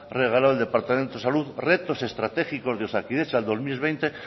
regalado el departamento de salud retos estratégicos de osakidetza dos mil veinte